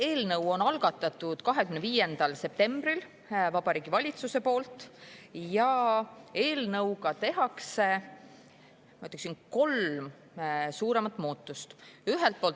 Eelnõu algatas 25. septembril Vabariigi Valitsus ja eelnõuga tehakse kolm suuremat muudatust.